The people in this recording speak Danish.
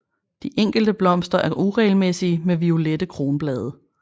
De enkelte blomster er uregelmæssige med violette kronblade